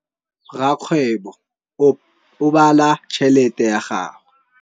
Rakgwêbô o bala tšheletê ya gagwe.